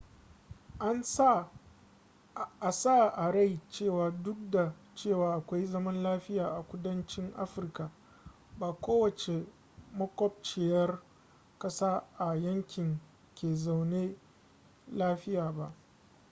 a sa a rai cewa duk da cewa akwai zaman lafiya a kudanci afirka ba kowacce makwabciyar kasa a yankin ke zaune lafiya ba